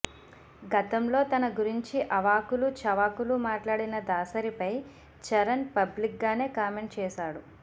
గతంలో తన గురించి అవాకులు చవాకులు మాట్లాడిన దాసరిపై చరణ్ పబ్లిగ్గానే కామెంట్ చేసాడు